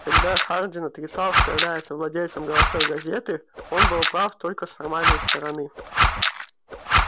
когда хардин отрицал что является владельцем городской газеты он был прав только с формальной стороны